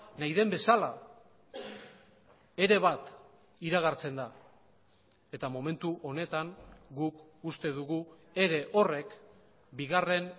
nahi den bezala ere bat iragartzen da eta momentu honetan guk uste dugu ere horrek bigarren